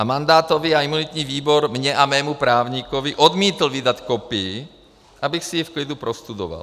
A mandátový a imunitní výbor mně a mému právníkovi odmítl vydat kopii, abych si ji v klidu prostudoval.